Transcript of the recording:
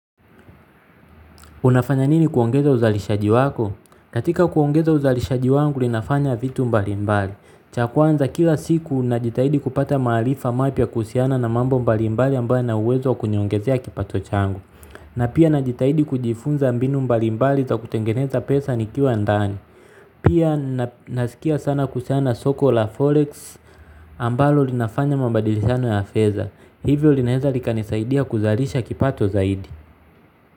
Unafanya nini kuongeza uzalishaji wako? Katika kuongeza uzalishaji wangu ninafanya vitu mbalimbali. Cha kwanza kila siku najitahidi kupata maarifa mapya kuhusiana na mambo mbali mbali ambayo yana uwezo wa kuniongezea kipato changu. Na pia najitahidi kujifunza mbinu mbali mbali za kutengeneza pesa nikiwa ndani. Pia nasikia sana kuhusiana na soko la forex ambalo linafanya mabadilishano ya afedha. Hivyo linaweza likanisaidia kuzalisha kipato zaidi.